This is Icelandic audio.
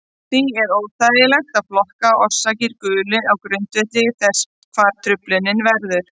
Því er þægilegt að flokka orsakir gulu á grundvelli þess hvar truflunin verður.